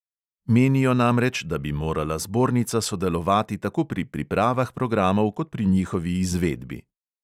Menijo namreč, da bi morala zbornica sodelovati tako pri pripravah programov kot pri njihovi izvedbi.